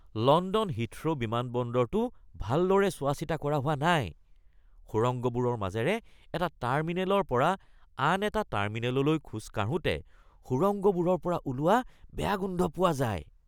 London Heathrow বিমানবন্দৰটো ভালদৰে চোৱাচিতা কৰা হোৱা নাই। সুৰংগবোৰৰ মাজেৰে এটা টাৰ্মিনেলৰ পৰা আন এটা টাৰ্মিনেললৈ খোজ কাঢ়োঁতে সুৰংগবোৰৰ পৰা ওলোৱা বেয়া গোন্ধ পোৱা যায়।